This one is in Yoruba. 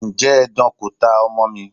Ǹjẹ́ edan kò ta ọmọ mi?